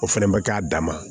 O fɛnɛ bɛ k'a dama